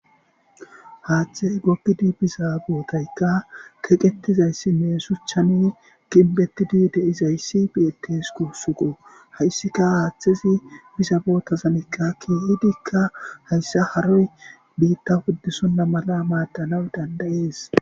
Hathey gogidi biza botayka kexetidaysine shuchan gimbetidi dizays betws gusuko haysika hathezi iza botazan bidika haysa haroy bitta wodisonta mala madanaw danda'es